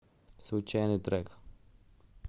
случайный трек